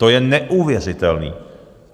To je neuvěřitelný!